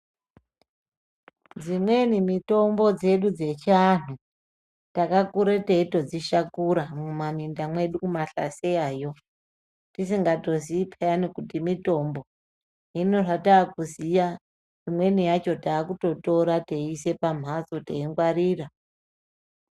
Dzimweni mitombo dzedu dzechiantu takakura teitodzishakura muma munda mwedu kumahlaseyayo tisingazii pheyani kuti mitombo. Hino hataa kuziya imweni yacho taakutotora teise pamhatso teingwarira.